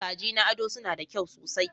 Kaji na ado suna da kyau sosai.